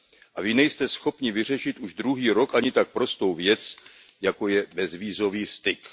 A vy nejste schopni vyřešit už druhý rok ani tak prostou věc, jako je bezvízový styk.